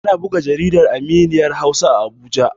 Ana buga jaridar Aminiya Hausa a Abuja.